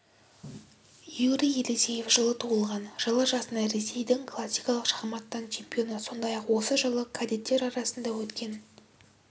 юрий елисеев жылы туылған жылы жасында ресейдің классикалық шахматтан чемпионы сондай-ақ осы жылы кадеттер арасында өткен